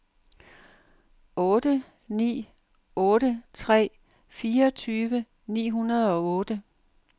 otte ni otte tre fireogtyve ni hundrede og otte